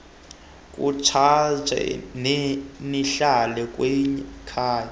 kutshanje nihlala kwikhaya